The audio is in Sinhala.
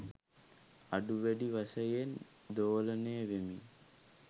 අඩු වැඩි වශයෙන් දෝලනය වෙමින්